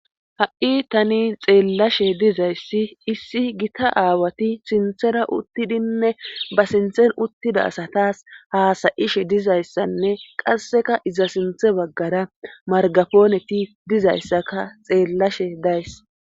Ha'i tani xeellashe dizayssi issi gita aawati sinthera uttidinne ba sinthen uttida asataas haasayishe dizayssanne qasseka iza sinthe baggara margafooneti dizayssaka xeellashe days.